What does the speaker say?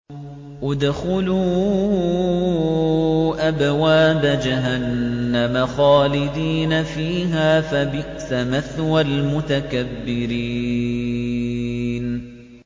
ادْخُلُوا أَبْوَابَ جَهَنَّمَ خَالِدِينَ فِيهَا ۖ فَبِئْسَ مَثْوَى الْمُتَكَبِّرِينَ